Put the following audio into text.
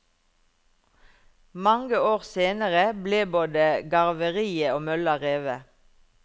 Mange år senere ble både garveriet og mølla revet.